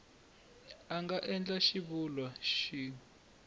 a nga endla xivulwa xin